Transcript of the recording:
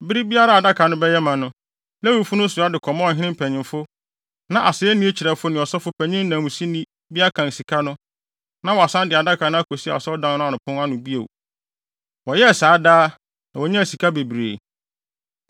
Bere biara a adaka no bɛyɛ ma no, Lewifo no soa de kɔma ɔhene mpanyimfo. Na asennii kyerɛwfo ne ɔsɔfopanyin nanmusini bi akan sika no, na wɔasan de adaka no akosi Asɔredan no pon ano bio. Wɔyɛɛ saa daa, na wonyaa sika bebree.